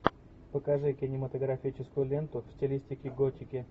покажи кинематографическую ленту в стилистике готики